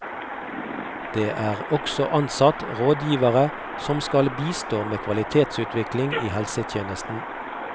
Det er også ansatt rådgivere som skal bistå med kvalitetsutvikling i helsetjenesten.